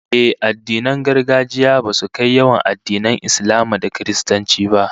Ehh, addinin gargajiya basu kai yawan addinan Islama da Kiristanci ba